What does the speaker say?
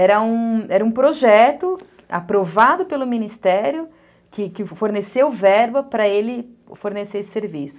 Era um era um projeto aprovado pelo Ministério, que forneceu verba para ele fornecer esse serviço.